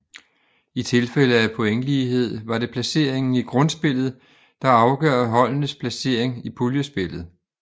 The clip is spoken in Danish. I tilfælde af pointlighed var det placeringen i grundspillet der afgør holdenes placering i puljespillet